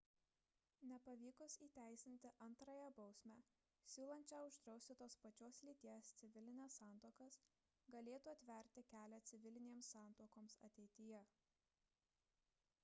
nepavykus įteisinti antrąją bausmę siūlančią uždrausti tos pačios lyties civilines santuokas galėtų atverti kelią civilinėms santuokoms ateityje